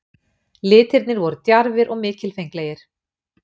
Litirnir voru djarfir og mikilfenglegir.